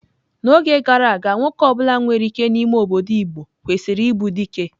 N'oge gara aga, nwoke ọ bụla nwere ike n'ime obodo igbo kwesịrị ịbụ dike.